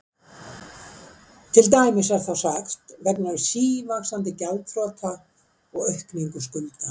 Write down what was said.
Til dæmis er þá sagt: vegna sívaxandi gjaldþrota og aukningu skulda.